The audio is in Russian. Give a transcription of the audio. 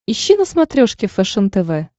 ищи на смотрешке фэшен тв